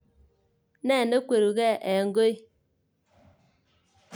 Ne nekweruke en koi.